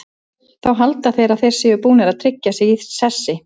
Þá halda þeir að þeir séu búnir að tryggja sig í sessi.